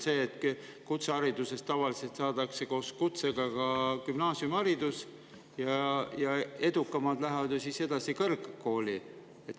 Kutsehariduses tavaliselt saadakse koos kutsega ka gümnaasiumiharidus ja edukamad lähevad siis edasi kõrgkooli.